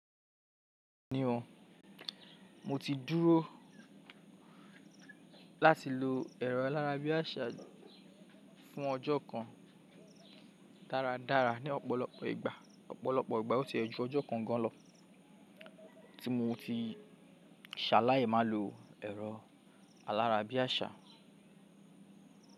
Ni ọ́n, mo ti dúró láti lo ẹ̀rọ alárabiàṣá fún ọjọ́ kan dáradára ní ọ̀pọ̀lọpọ̀ ìgbà. Ọ̀pọ̀lọpọ̀ ìgbà ó ti e jú ọjọ́ kan gan lọ tí mo ti ṣàlài máa lo ẹ̀rọ alárabiàṣá.